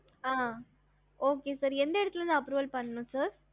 ஹம்